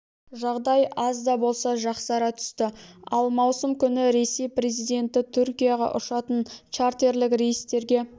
жағдай аз да болса жақсара түсті ал маусым күні ресей президенті түркияға ұшатын чартерлік рейстерге